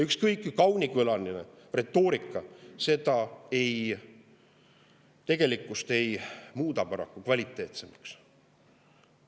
Ükskõik kui kaunikõlaline retoorika ei muuda tegelikkust paraku kvaliteetsemaks.